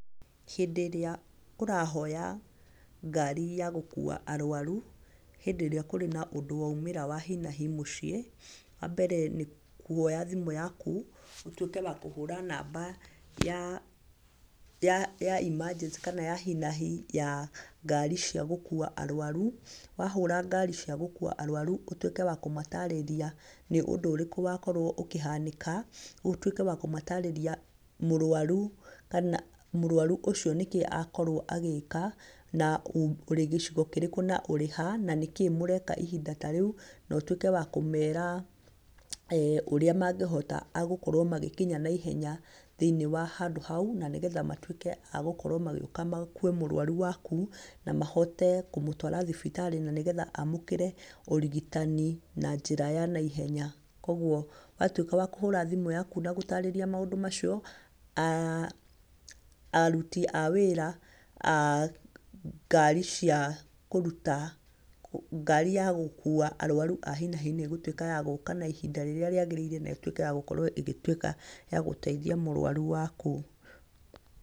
Hĩndĩ ĩria ũrahoya ngari ya gũkuua arwaru hĩndĩ ĩrĩa kũrĩ na ũndũ waumĩra wa hi na hi mũciĩ, wambere nĩ kuoya thimũ yaku, ũtuĩke wa kũhũra namba ya emergency, kana ya hi na hi ya ngari cia gũkuua arwaru. Wahũra ngari cia gũkuua arwaru, ũtuĩke wa kũmatarĩria nĩ ũndũ ũrĩkũ wakorwo ũkĩhanĩka, ũtuĩke wa kũmatarĩria mũrwaru ũcio nĩkĩĩ akorwo agĩika, na ũrĩ gĩcigo kĩrĩkũ, na ũrĩha, na nĩkĩĩ mũreka ihĩnda ta reu, no twĩke wa kũmeera ũrĩa mangĩhota agũkorwo magĩkinya naihenya thĩinĩ wa handũ hau, na nĩgetha matuĩke a gũkorwo magĩuka makuue mũrwaru waku, na mahote kũmũtwara thibitarĩ, na nĩgetha amũkĩre ũrigitani na njĩra ya naihenya. Koguo watuĩka wa kũhũra thimũ yaku na gũtarĩria maundũ macio, aruti a wĩra a ngari ya gũkuua arwaru a hi na hi nĩ ĩgũtuĩka ya gũuka na ihinda rĩrĩa rĩagĩrĩire, na ĩtuĩke ya gũkorwo ĩgĩtuĩka ya gũteithia mũrwaru waku.